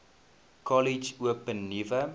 kollege open nuwe